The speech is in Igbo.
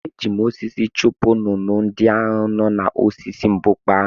Eji m osisi chụpụ nnụnụ ndị ahụ n’osisi mbukpa ahụ.